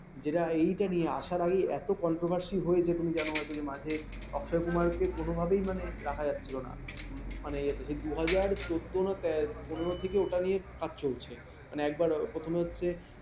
যেটা এটা নিয়ে আসার আগেই এত controversy হয়েছে যে তুমি জানো হয়তো যে মাঝে অক্ষয় কুমারকে কোনভাবেই মানে রাখা যাচ্ছিল না। মানে সে দুই হাজার চোদ্দ না পনের থেকে ওটা নিয়ে কাজ চলছে । মানে একবার প্রথম হচ্ছে ।